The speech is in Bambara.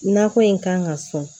Nakɔ in kan ka sɔn